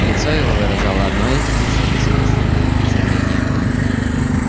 лицо его выражало одно лишь бессмысленное изумление